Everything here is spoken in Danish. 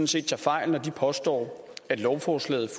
set tager fejl når de påstår at lovforslaget